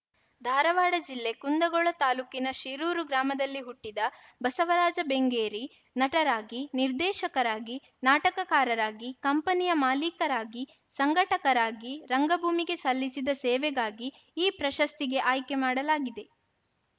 ಧಾರವಾಡ ಜಿಲ್ಲೆ ಕುಂದಗೋಳ ತಾಲೂಕಿನ ಶಿರೂರು ಗ್ರಾಮದಲ್ಲಿ ಹುಟ್ಟಿದ ಬಸವರಾಜ ಬೆಂಗೇರಿ ನಟರಾಗಿ ನಿರ್ದೇಶಕರಾಗಿ ನಾಟಕಕಾರರಾಗಿ ಕಂಪನಿಯ ಮಾಲಿಕರಾಗಿ ಸಂಘಟಕರಾಗಿ ರಂಗಭೂಮಿಗೆ ಸಲ್ಲಿಸಿದ ಸೇವಾಗಾಗಿ ಈ ಪ್ರಶಸ್ತಿಗೆ ಆಯ್ಕೆ ಮಾಡಲಾಗಿದೆ